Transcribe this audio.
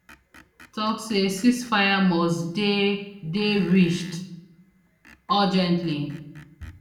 tok say ceasefire must dey dey reached urgently